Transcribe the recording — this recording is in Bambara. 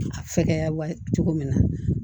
A fɛgɛya wa cogo min na